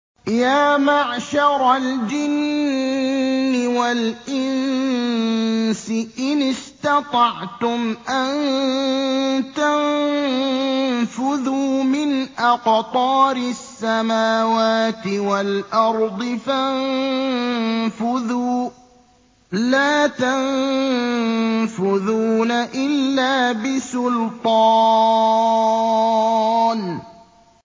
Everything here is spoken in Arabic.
يَا مَعْشَرَ الْجِنِّ وَالْإِنسِ إِنِ اسْتَطَعْتُمْ أَن تَنفُذُوا مِنْ أَقْطَارِ السَّمَاوَاتِ وَالْأَرْضِ فَانفُذُوا ۚ لَا تَنفُذُونَ إِلَّا بِسُلْطَانٍ